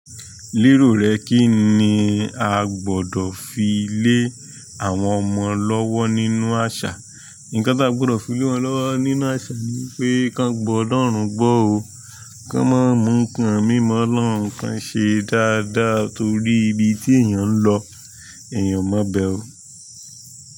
Lerò rẹ kí ni a gbọdọ̀ fi lé àwọn ọmọ lọ́wọ́ nínú àṣà? Nǹkan tí a gbọdọ̀ fi lé wọn lọ́wọ́ nínú àṣà ni pé kí wọn gbọ́'lọ̀rùn gbó o, kí wọ́n má mú nǹkan mí mọ́'lọ́ruń kan ṣe dáadáa torí ibi tí èèyàn ń lọ, èèyàn o má bẹ o.